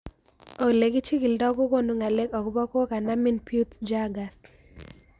Ole kichig'ildoi kokonu ng'alek akopo kokanomin Peutz jeghers